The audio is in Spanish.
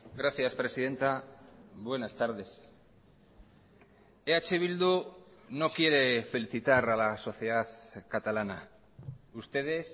gracias presidenta buenas tardes eh bildu no quiere felicitar a la sociedad catalana ustedes